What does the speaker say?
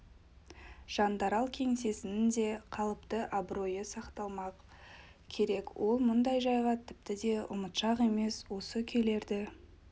жандарал кеңсесінің де қалыпты абыройы сақталмақ керек ол мұндай жайға тіпті де ұмытшақ емес осы күйлерді